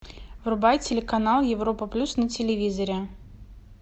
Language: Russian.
врубай телеканал европа плюс на телевизоре